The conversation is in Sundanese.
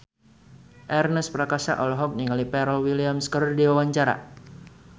Ernest Prakasa olohok ningali Pharrell Williams keur diwawancara